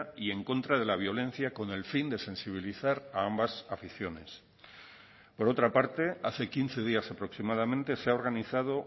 y en contra de la violencia con el fin de sensibilizar a ambas aficiones por otra parte hace quince días aproximadamente se ha organizado